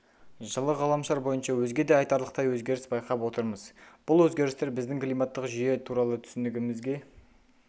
жылы ғаламшар бойынша өзге де айтарлықтай өзгеріс байқап отырмыз бұл өзгерістер біздің климаттық жүйе туралы түсінігімізге